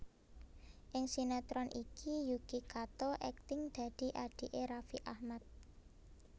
Ing sinetron iki Yuki Kato akting dadi adhiké Raffi Ahmad